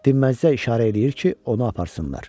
Dinməzcə işarə eləyir ki, onu aparsınlar.